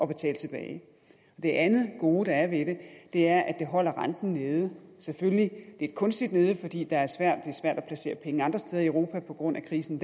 betale tilbage det andet gode der er ved det er at det holder renten nede selvfølgelig lidt kunstigt nede fordi det er svært at placere penge andre steder i europa på grund af krisen